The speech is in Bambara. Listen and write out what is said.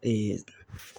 Ee